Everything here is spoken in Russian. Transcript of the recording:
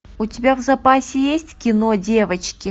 у тебя в запасе есть кино девочки